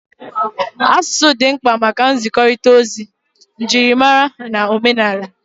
Asụsụ dị mkpa maka nzikọrịta ozi, njirimara na omenala